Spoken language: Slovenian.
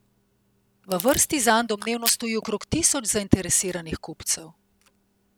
V vrsti zanj domnevno stoji okrog tisoč zainteresiranih kupcev.